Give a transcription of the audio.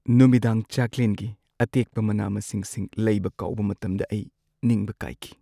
ꯅꯨꯃꯤꯗꯥꯡ ꯆꯥꯛꯂꯦꯟꯒꯤ ꯑꯇꯦꯛꯄ ꯃꯅꯥ-ꯃꯁꯤꯡꯁꯤꯡ ꯂꯩꯕ ꯀꯥꯎꯕ ꯃꯇꯝꯗ ꯑꯩ ꯅꯤꯡꯕ ꯀꯥꯏꯈꯤ ꯫